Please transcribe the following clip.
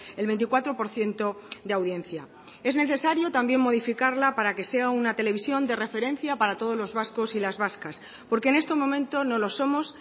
el veinticuatro por ciento de audiencia es necesario también modificarla para que sea una televisión de referencia para todos los vascos y las vascas porque en este momento no lo somos